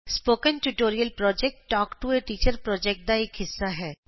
spoken tutorial project talk to a teacher ਪੋ੍ਜੈਕਟਦਾ ਇਕ ਹਿੱਸਾ ਹੈ